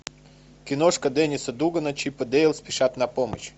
киношка денниса дугана чип и дейл спешат на помощь